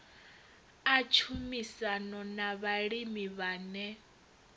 a tshumisano na vhalimi vhane